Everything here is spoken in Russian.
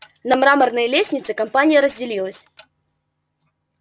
на мраморной лестнице компания разделилась